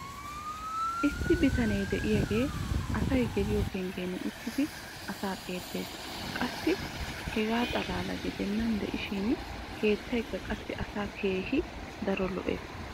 issi bitanee diyaagee asay geliyo penggiyan uttidi asaa xeelees. qassi hegaa xalaala gidennan diishshin keettaykka qassi asaa keehi daro lo'ees.